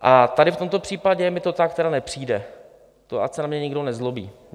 A tady v tomto případě mi to tak tedy nepřijde, to ať se na mě nikdo nezlobí.